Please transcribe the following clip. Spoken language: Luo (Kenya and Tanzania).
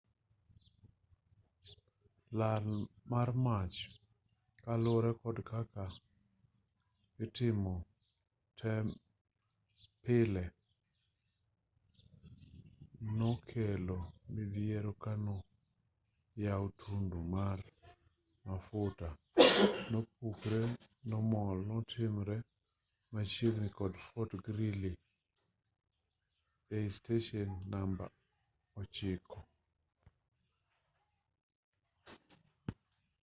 lal mar mach kaluwore kod kaka itimo tem pile nokelo midhiero kano yaw tundu ma mafuta nopukre momol notimre machiegini kod fort greely esteshen namba 9